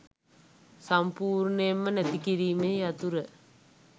සම්පුර්ණයෙන්ම නැති කිරීමේ යතුර